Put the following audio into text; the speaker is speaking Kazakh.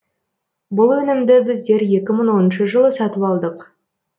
бұл өнімді біздер екі мың оныншы жылы сатып алдық